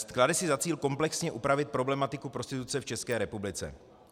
Klade si za cíl komplexně upravit problematiku prostituce v České republice.